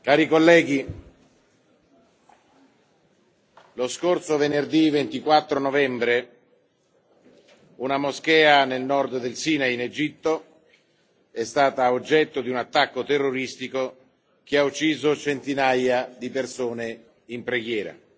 Cari colleghi, lo scorso venerdì 24 novembre, una moschea nel nord del Sinai, in Egitto, è stata oggetto di un attacco terroristico che ha ucciso centinaia di persone in preghiera.